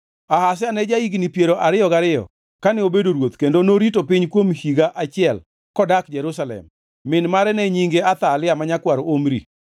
Ahazia ne ja-higni piero ariyo gariyo kane obedo ruoth kendo norito piny kuom higa achiel kodak Jerusalem. Min mare ne nyinge Athalia ma nyakwar Omri.